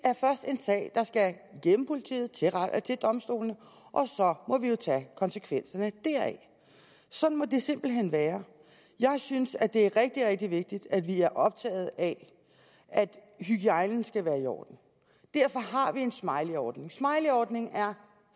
er en politiet til domstolene og så må vi jo tage konsekvenserne deraf sådan må det simpelt hen være jeg synes at det er rigtig rigtig vigtigt at vi er optaget af at hygiejnen skal være i orden derfor har vi en smileyordning smileyordningen er